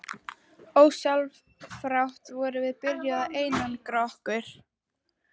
Ósjálfrátt vorum við byrjuð að einangra okkur.